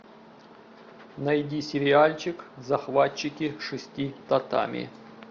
найди сериальчик захватчики шести татами